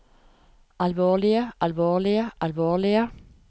alvorlige alvorlige alvorlige